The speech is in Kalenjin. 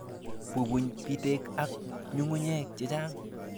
Bubuny bitek ak ng'ung'unyek chechang'.